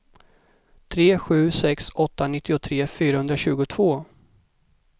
tre sju sex åtta nittiotre fyrahundratjugotvå